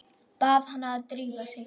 Bað hana að drífa sig.